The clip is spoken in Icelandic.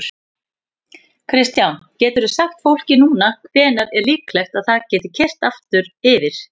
Kristján: Geturðu sagt fólki núna hvenær er líklegt að það geti keyrt aftur yfir?